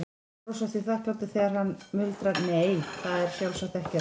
Þeir brosa því þakklátir þegar hann muldrar, nei, það er sjálfsagt ekkert.